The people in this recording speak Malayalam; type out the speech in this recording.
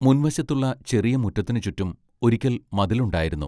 മുൻവശത്തുള്ള ചെറിയ മുറ്റത്തിനു ചുറ്റും ഒരിക്കൽ മതിലുണ്ടായിരുന്നു.